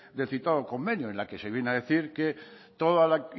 del citado convenio en la que se viene a decir que toda la